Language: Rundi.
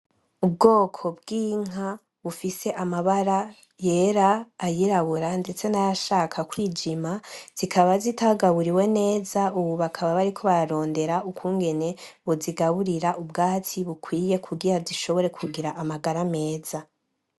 Ubwoko bw'inka, bufise amabara yera , ayirabura ndetse nayashaka kwijima , zikaba zitagaburiwe neza ubu bakaba bariko bararondera ukungene bozigaburira ubwatsi bukwiye kugira zishobore kugira amagara meza.